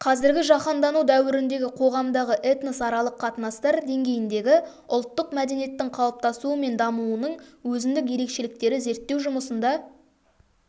қазіргі жаһандану дәуіріндегі қоғамдағы этносаралық қатынастар деңгейіндегі ұлттық мәдениеттің қалыптасуы мен дамуының өзіндік ерекшеліктері зерттеу жұмысында